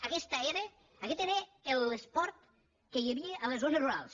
aguest era l’esport que hi havia a les zones rurals